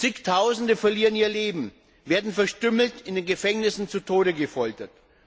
Zigtausende verlieren ihr Leben, werden verstümmelt, in den Gefängnissen zu Tode gefoltert.